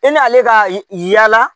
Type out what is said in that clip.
E n'ale ka yaala